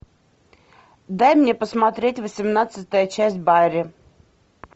дай мне посмотреть восемнадцатая часть барри